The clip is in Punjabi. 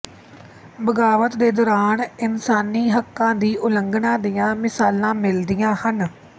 ਬਗ਼ਾਵਤ ਦੇ ਦੌਰਾਨ ਇਨਸਾਨੀ ਹੱਕਾਂ ਦੀ ਉਲੰਘਣਾ ਦੀਆਂ ਮਿਸਾਲਾਂ ਮਿਲਦੀਆਂ ਹਨ